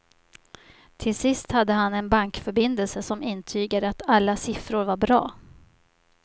Till sist hade han en bankförbindelse som intygade att alla siffror var bra.